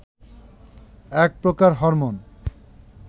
এক প্রকার হরমোন